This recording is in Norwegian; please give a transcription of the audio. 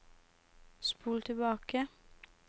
spol tilbake